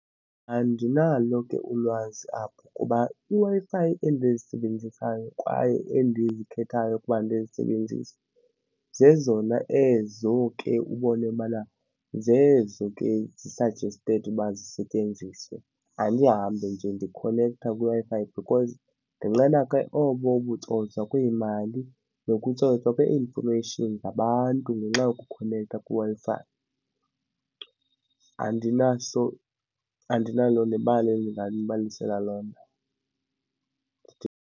Andinalo ke ulwazi apho kuba iWi-Fi endizisebenzisayo kwaye endizikhethayo ukuba ndizisebenzise zezona ezo ke ubone bana zezo ke zi-suggested uba zisetyenziswe. Andihambi nje ndikhonektha kwiWi-Fi because ndinqena ke oko kutsotswa kwiimali nokutsotswa kwe-information ngabantu ngenxa yokukhonektha kwiWi-Fi. Andinaso andinalo nebali endinganibalisela lona.